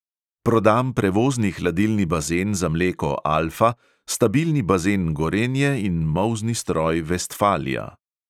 Prodam prevozni hladilni bazen za mleko alfa, stabilni bazen gorenje in molzni stroj vestfalia.